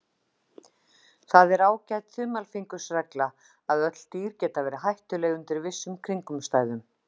Það er ágæt þumalfingursregla að öll dýr geta verið hættuleg undir vissum kringumstæðum.